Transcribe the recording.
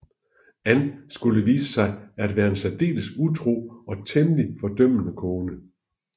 Ann skulle vise sig at være en særdeles utro og temmelig fordømmende kone